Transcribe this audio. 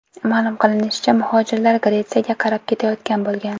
Ma’lum qilinishicha, muhojirlar Gretsiyaga qarab ketayotgan bo‘lgan.